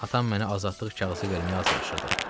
Atam məni azadlıq kağızı verməyə hazırlaşırdı.